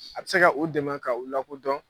A bi se ka u dɛmɛ ka u lakodɔn.